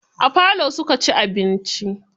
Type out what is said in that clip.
A falo suka ci abinci.